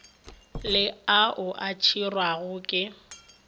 le ao a tšerwego ke